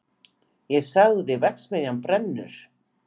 Ég sagði: verksmiðjan brennur!